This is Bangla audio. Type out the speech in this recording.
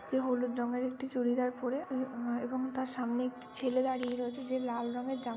যে হলুদ রঙের একটি চুড়িদার পরে আহ এবং তার সামনে একটি ছেলে দাঁড়িয়ে রয়েছে যে লাল রঙের জামা --